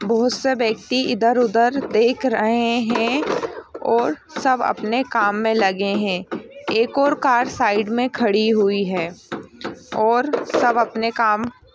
बहुत सा व्यक्ति इधर उधर देख रहे हैं और सब अपने काम में लगे हैं एक और कार साइड में खड़ी हुई है और सब अपने काम--